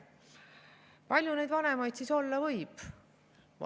Kui palju neid vanemaid siis olla võib?